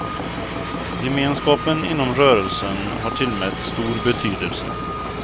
Gemenskapen inom rörelsen har tillmätts stor betydelse.